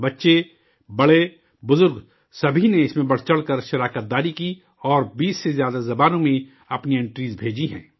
بچے، بڑے، بزرگ، سبھی نے، اس میں بڑھ چڑھ کر شرکت کی اور 20 سے زیادہ زبانوں میں اپنی اینٹٹیز بھیجی ہیں